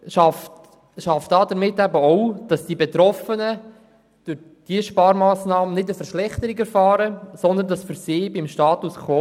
Diese Sparmassnahme schafft bei den Betroffenen nicht eine Verschlechterung, sondern es bleibt für sie beim Status quo.